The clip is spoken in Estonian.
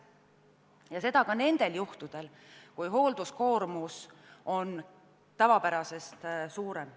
Ja seda ka nendel juhtudel, kui hoolduskoormus on tavapärasest suurem.